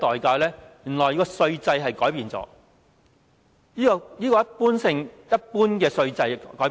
原來要改變稅制，把一般的稅制改變。